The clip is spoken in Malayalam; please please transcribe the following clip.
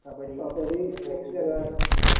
കബഡി യക്ഷ ഗാനം മ്